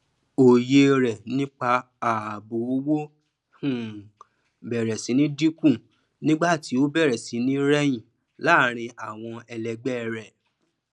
oye re nipa ààbò owó um bẹrẹ sí ní dínkù nigba ti o bèrè sí ní reyin láàrin àwọn ẹlẹgbẹ rẹ